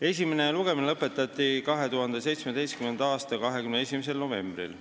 Esimene lugemine lõpetati 2017. aasta 21. novembril.